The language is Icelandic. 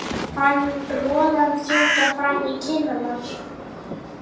Fann roðann þjóta fram í kinnarnar.